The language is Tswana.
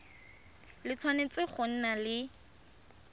le tshwanetse go nna le